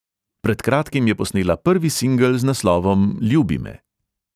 Pred kratkim je posnela prvi singel z naslovom ljubi me.